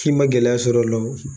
K'i ma gɛlɛya sɔrɔ o la o.